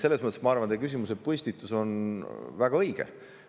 Selles mõttes ma arvan, et teie küsimusepüstitus on väga õige.